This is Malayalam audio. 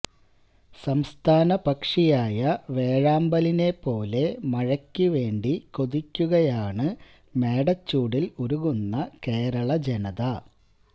സംസ്ഥാനപക്ഷിയായ വേഴാമ്പലിനെ പോലെ മഴയ്ക്കുവേണ്ടി കൊതിയ്ക്കുകയാണ് മേടച്ചൂടില് ഉരുകുന്ന കേരള ജനത